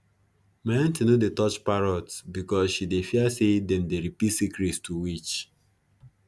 my aunty no dey touch parrots because she dey fear say them dey repeat secrets to witch